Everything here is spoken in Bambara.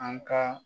An ka